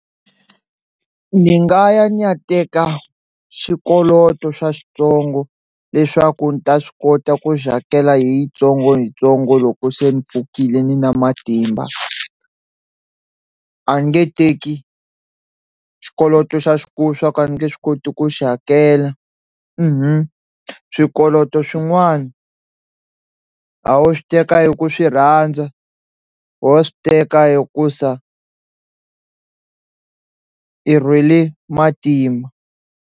Ni nga ya ni ya teka xikoloto xa xitsongo leswaku ndzi ta swi kota ku xi hakela hi yintsongoyintsongo loko se ni pfukile ni ri na matimba, a nge teki xikoloto xa xikulu swa ku a ni nge swi koti ku xi hakela swikoloto swin'wana a ho swi teka hi ku swi rhandza ho swi teka hikusa i rhwele matima.